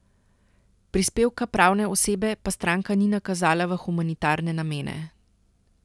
Prispevka pravne osebe pa stranka ni nakazala v humanitarne namene.